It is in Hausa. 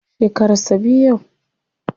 Shekaran sa biyu yau.